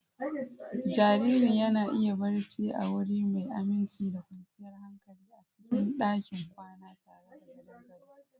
Jaririn yana iya barci a wuri mai aminci da kwanciyar hankali a cikin ɗakin kwana tare da gadon gado.